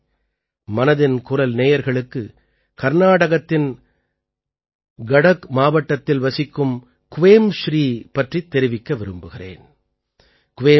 நண்பர்களே மனதின் குரல் நேயர்களுக்கு கர்நாடகத்தின் கடக் மாவட்டத்தில் வசிக்கும் க்வேம்ஸ்ரீ பற்றித் தெரிவிக்க விரும்புகிறேன்